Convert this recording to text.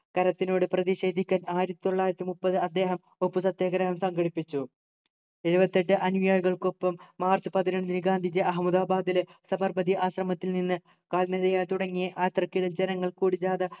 കരത്തിനോട് പ്രതിഷേധിക്കാൻ ആയിരത്തി തൊള്ളായിരത്തി മുപ്പത് അദ്ദേഹം ഉപ്പു സത്യാഗ്രഹം സംഘടിപ്പിച്ചു എഴുപത്തെട്ടു അനുയായികൾക്കൊപ്പം മാർച്ച് പതിനൊന്നിന് ഗാന്ധിജി അഹമ്മദാബാദിലെ സബർമതി ആശ്രമത്തിൽ നിന്ന് കാൽനടയായി തുടങ്ങിയ ആയാത്രക്ക് ജനങ്ങൾ കൂടി ജാഥ